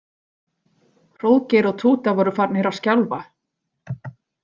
Hróðgeir og Túta voru farnir að skjálfa.